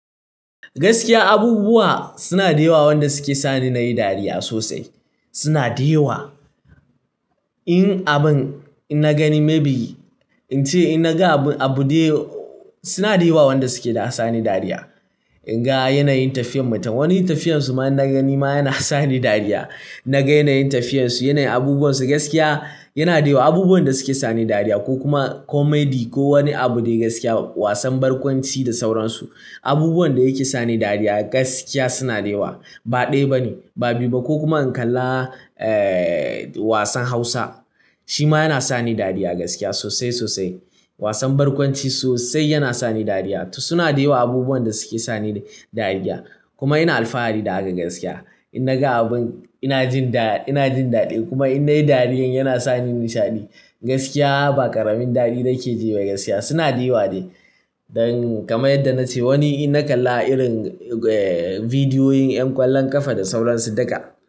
Gaskiya abubuwa suna da yawa wanda suke sani nayi dariya sosai. Suna da yawa. In abun in nagani maybe ince ina ga abu abude suna da yawa wanda suke da sani dariya. In ga yanayin tafiyar mutum wani tafiyar su ma ina gani ma yana sani dariya. Na ga yanayin tafiyar su yanayin abubuwan su gaskiya yana da yawa abubuwan da suke sani dariya ko kuma comedy ko wani abu dai gaskiya wasan barkwanci da sauransu. Abubuwan da yake sani dariya gaskiya suna da yawa. Ba ɗaya bane ba biyu ba ko kuma in kalla eh wasan Hausa shi ma yana sani dariya gaskiya sosai sosai. Wasan barkwanci sosai yana sani dariya. To suna da yawa abubuwan da suke sani dariya kuma ina alfahari da haka gaskiya. In na ga abun ina jinda ina jin daɗi kuma in nayi dariyar yana sani nishaɗi. Gaskiya ba ƙaramin daɗi nake ji ba gaskiya suna da yawa dai. Don kamar yadda na ce wani ina kalla irin eh bidiyoyin ƴan ƙwallon ƙafa da sauransu daga.